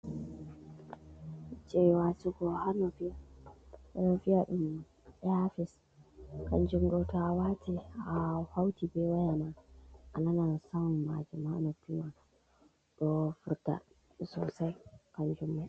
Je watigo ha nofi ɓe ɗo vi a ɗum eya fis a wate a hauti be wayama a nanan samon majimanafima ɗo furta sosai kan jummaa.